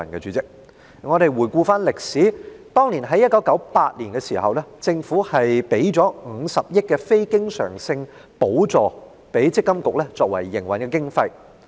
主席，回顧歷史，政府在1998年給予積金局50億元非經常性補助作為營運經費。